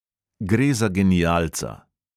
Gre za genialca.